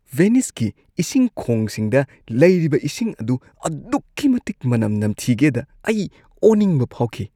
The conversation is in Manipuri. ꯚꯦꯅꯤꯁꯀꯤ ꯏꯁꯤꯡ ꯈꯣꯡꯁꯤꯡꯗ ꯂꯩꯔꯤꯕ ꯏꯁꯤꯡ ꯑꯗꯨ ꯑꯗꯨꯛꯀꯤ ꯃꯇꯤꯛ ꯃꯅꯝ ꯅꯝꯊꯤꯒꯦꯗ ꯑꯩ ꯑꯣꯅꯤꯡꯕ ꯐꯥꯎꯈꯤ꯫